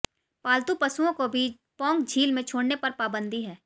पालतू पशुओं को भी पौंग झील में छोड़ने पर पाबंदी है